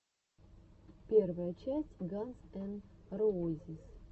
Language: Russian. первая часть ганз эн роузиз